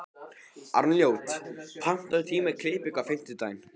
Arnljót, pantaðu tíma í klippingu á fimmtudaginn.